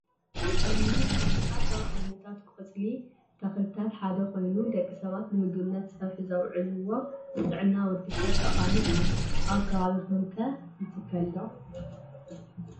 ሓምሊ ቆስጣ ካብ ዓይነታት ቆፅሊ ተክልታት ሓደ ኮይኑ ደቂ ሰባት ንምግብነት ፀብሒ ዘውዕልዎ ንጥዕና ወዲ ሰብ ጠቃሚ እዩ። ኣብ ከባቢኩም'ከ ይትከል ዶ?